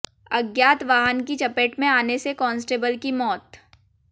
अज्ञात वाहन की चपेट में आने से कांस्टेबल की मौत